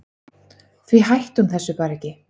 Því hætti hún þessu bara ekki.